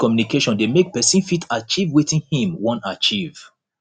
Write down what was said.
effective communication dey make persin fit achieve wetin im won achieve